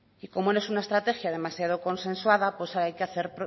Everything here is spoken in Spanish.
y como no es una estrategia demasiado consensuada pues hay que hacer